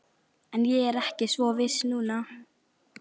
En ég er ekki svo viss núna